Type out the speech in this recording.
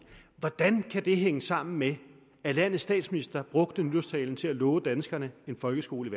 hvordan kan det hænge sammen med at landets statsminister brugte nytårstalen til at love danskerne en folkeskole